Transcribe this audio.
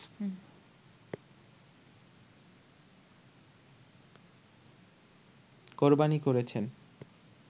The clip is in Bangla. কোরবানী করেছেন